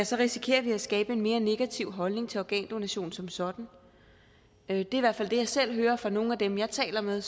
så risikerer vi at skabe en mere negativ holdning til organdonation som sådan det er i hvert fald det jeg selv hører fra nogle af dem jeg taler med